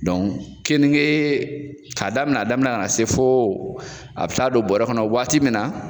keninge k'a daminɛ daminɛ na, ka na se fo a bɛ taa don bɔra kɔnɔ waati min na